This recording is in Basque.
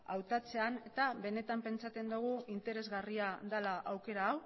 hautatzean eta benetan pentsatzen dugu interesgarria dela aukera hau